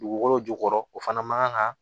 Dugukolo jukɔrɔ o fana man kan ka